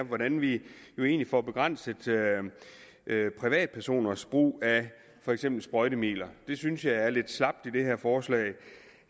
hvordan vi får begrænset privatpersoners brug af for eksempel sprøjtemidler det synes jeg er lidt slapt i det her forslag